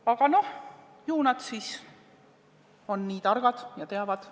Aga ju nad on siis nii targad ja teavad.